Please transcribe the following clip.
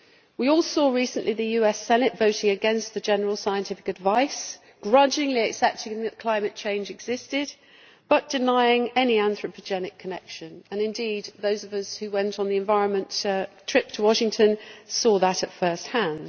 We all saw recently the US Senate voting against the general scientific advice, grudgingly accepting that climate change existed but denying any anthropogenic connection, and indeed those of us who went on the environment trip to Washington saw that at first hand.